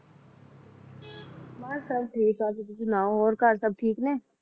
ਬੱਸ ਸਬ ਠੀਕ ਆ ਤੁਸੀਂ ਸੁਣਾਓ ਹੋਰ ਘਰ ਸਬ ਠੀਕ ਨੇ?